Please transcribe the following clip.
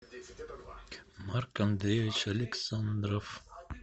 марк андреевич александров